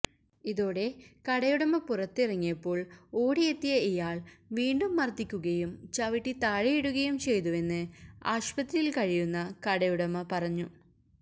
ഇതോടെ കടയുടമ പുറത്ത് ഇറങ്ങിയപ്പോള് ഓടിയെത്തിയ ഇയാള് വീണ്ടും മര്ദിക്കുകയും ചവിട്ടി താഴെയിടുകയും ചെയ്തുവെന്ന് ആശുപത്രിയില് കഴിയുന്ന കടയുടമ പറഞ്ഞു